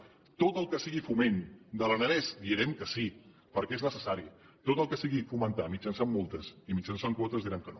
a tot el que sigui foment de l’aranès direm que sí perquè és necessari a tot el que sigui fomentar mitjançant multes i mitjançant quotes direm que no